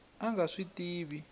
a a nga swi tivi